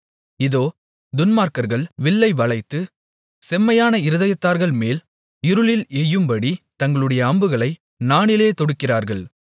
இதோ துன்மார்க்கர்கள் வில்லை வளைத்து செம்மையான இருதயத்தார்கள்மேல் இருளில் எய்யும்படி தங்களுடைய அம்புகளை நாணிலே தொடுக்கிறார்கள்